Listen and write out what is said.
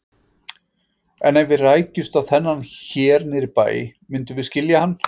En ef við rækjumst á þennan hér niðri í bæ, myndum við skilja hann?